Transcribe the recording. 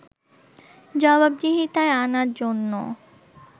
জবাবদিহিতায় আনার জন্য